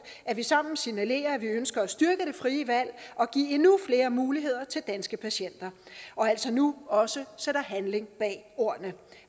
at vi sammen signalerer at vi ønsker at styrke det frie valg og give endnu flere muligheder til danske patienter og altså nu også sætter handling bag ordene